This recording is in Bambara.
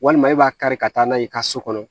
Walima e b'a kari ka taa n'a ye i ka so kɔnɔ